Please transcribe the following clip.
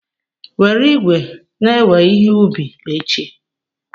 Were igwe na-ewe ihe ubi echi.